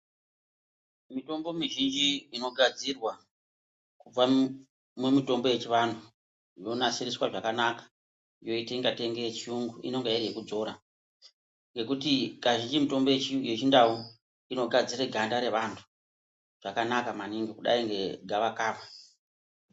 Mitombo mizhinji inogadzirwa kubva mumitombo yechivantu yonasiriswa zvakanaka yoita kunge yechirungu inenge iri yekudzora ngekuti kazhinji mitombo yechindau inogadzire ganda revantu zvakanaka maningi kudai ngegavakava.